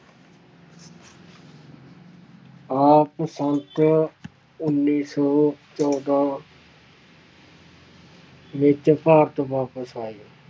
ਆਪ ਉੱਨੀ ਸੌ ਚੌਦਾਂ ਵਿੱਚ ਭਾਰਤ ਵਾਪਿਸ ਆਏ